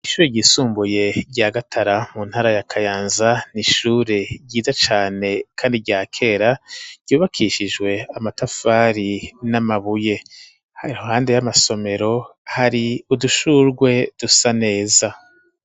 Ishure ryisumbuye rya gatara mu ntara ya kayanza n'ishure ryiza cane kandi rya kera ryubakishijwe amatafari n'amabuye, hari ruhande y'amasomero hari udushurwe dusa neza.